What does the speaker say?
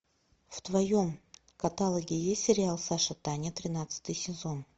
в твоем каталоге есть сериал саша таня тринадцатый сезон